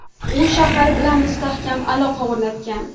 U shahar bilan mustahkam aloqa o‘rnatgan.